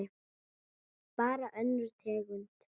Bara önnur tegund.